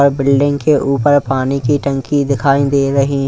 और बिल्डिंग के ऊपर पानी की टंकी दिखाई दे रही--